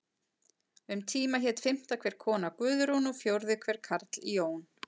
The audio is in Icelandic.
Um tíma hét fimmta hver kona Guðrún og fjórði hver karl Jón.